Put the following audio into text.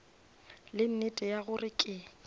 le nnete ya gore ke